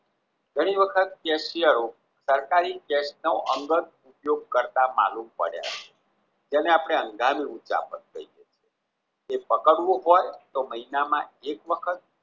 ઘણી વખત કેસયરો સરકારી કેસનો અંગત ઉપયોગ કરતા માલુમ પડ્યા જેને આપણે હંગામી એ પકારવું હોય તો મહિના માં એક વખત